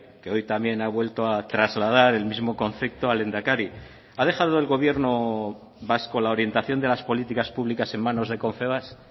que hoy también ha vuelto a trasladar el mismo concepto al lehendakari ha dejado el gobierno vasco la orientación de las políticas públicas en manos de confebask